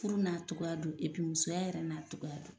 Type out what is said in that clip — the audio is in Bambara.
Furu n'a cɔgɔ don musoya yɛrɛ n'a cɔgɔ don